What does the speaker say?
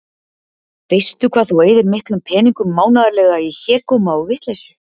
Veistu hvað þú eyðir miklum peningum mánaðarlega í hégóma og vitleysu?